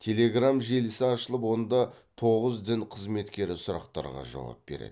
телеграмм желісі ашылып онда тоғыз дін қызметкері сұрақтарға жауап береді